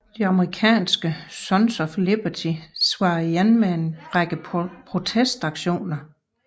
De amerikanske Sons of Liberty svarede igen med en række protestaktioner